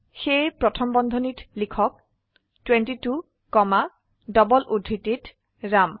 সেয়ে প্ৰথম বন্ধনীত লিখক 22 কমা ডবল উদ্ধৃতিত ৰাম